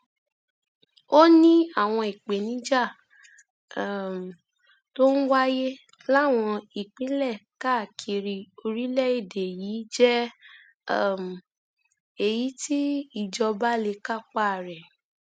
ó ní àwọn ìpèníjà um tó ń wáyé láwọn ìpínlẹ káàkiri orílẹèdè yìí jẹ um èyí tí ìjọba lè kápá rẹ